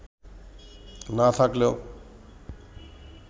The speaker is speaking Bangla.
না থাকলেও